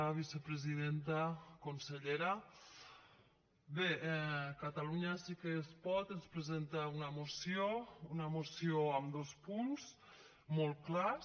vicepresidenta consellera bé catalunya sí que es pot ens presenta una moció una moció amb dos punts molt clars